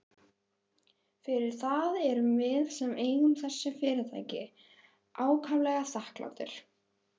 Fyrir það erum við sem eigum þessi fyrirtæki ákaflega þakklátir.